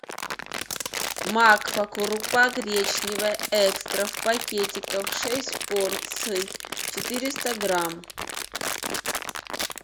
макфа крупа гречневая экстра в пакетиках шесть порций четыреста грамм